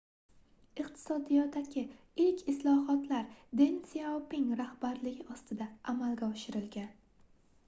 iqtisodiyotdagi ilk islohotlar den syaoping rahbarligi ostida amalga oshirilgan